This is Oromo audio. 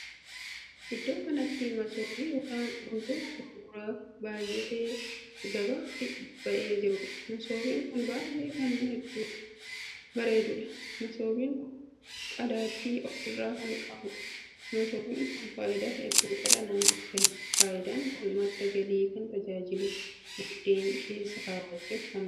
Iddoo kanatti masoobii ykn gundoo gurguraaf baay'atee gabaatti ba'ee jirudha. masoobii kun baay'ee kan bareedudha. masoobiin kun qadaaddii of irraa kan qabuudha. masoobiin kun faayidaa hedduu dhala namaaf kenna. faayidaan kun madda galiif kan tajaajilu, buddeen keessa kaawwachuuf kan ooludha.